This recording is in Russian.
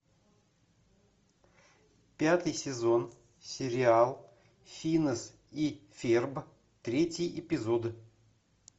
пятый сезон сериал финес и ферб третий эпизод